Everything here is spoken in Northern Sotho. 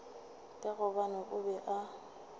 ka gobane o be a